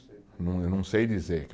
Eu não, eu não sei dizer.